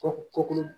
Kɔ kɔkɔ